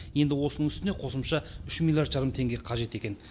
енді осының үстіне қосымша үш миллиард жарым теңге қажет екен